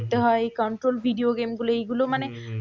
হম হম